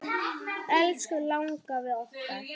Elsku langafi okkar.